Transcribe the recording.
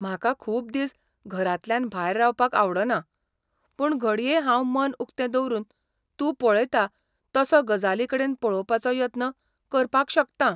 म्हाका खूब दीस घरांतल्यान भायर रावपाक आवडना, पूण घडये हांव मन उक्तें दवरून तूं पळयता तसो गजालींकडेन पळोवपाचो यत्न करपाक शकतां.